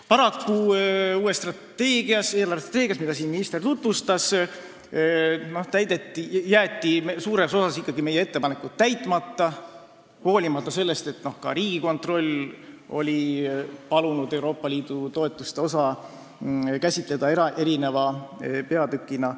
Paraku jäeti uues eelarvestrateegias, mida minister siin tutvustas, meie ettepanekud ikkagi suures osas täitmata, hoolimata sellest, et ka Riigikontroll oli palunud Euroopa Liidu toetuste osa käsitleda eraldi peatükina.